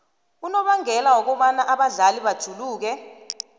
ubangela wokobana abadlali bajuluke